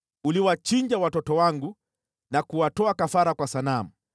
Uliwachinja watoto wangu na kuwatoa kafara kwa sanamu.